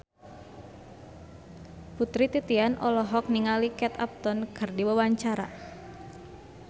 Putri Titian olohok ningali Kate Upton keur diwawancara